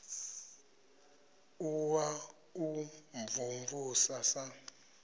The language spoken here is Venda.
u wa u mvumvusa sa